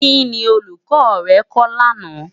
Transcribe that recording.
Kini Òlúkò rè kò làná?